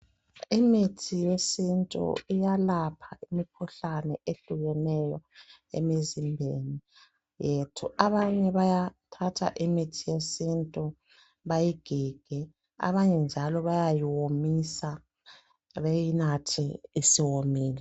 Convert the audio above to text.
Imithi yesintu iyalapha imikhuhlane ehlukeneyo emizimbeni yethu abanye bayathatha imithi yesintu bayigige abanye njalo bayayiwomisa beyinathe isiwomile.